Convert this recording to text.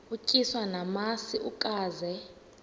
utyiswa namasi ukaze